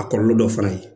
A kɔlɔlɔ dɔ fana ye